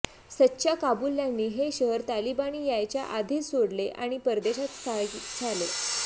सच्च्या काबुल्यांनी हे शहर तालिबानी यायच्या आधीच सोडले आणि परदेशात स्थायिक झाले